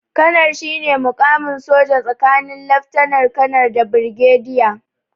Kanar shine muƙamin soja tsakanin laftanar- kanar da birgediya.